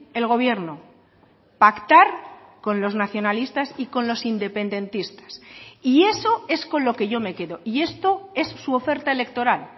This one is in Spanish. el gobierno pactar con los nacionalistas y con los independentistas y eso es con lo que yo me quedo y esto es su oferta electoral